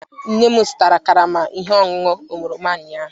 Nne m zụtara karama ihe ọṅụṅụ oroma ụnyahụ.